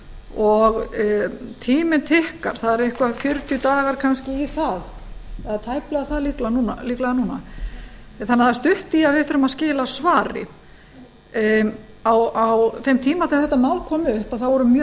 og tíminn okkar það eru eitthvað um fjörutíu dagar kannski í það eða tæplega það líklega núna þannig að það er stutt í að við þurfum að skila svari á þeim tíma sem þetta mál kom upp þá voru mjög